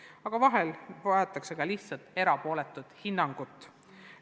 Aga vahel vajatakse ka lihtsalt erapooletut hinnangut.